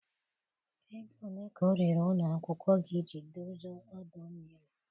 Ego ole ka ọ riri ụlọ akwụkwọ gị iji dozie ọdọ mmiri?